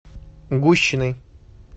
гущиной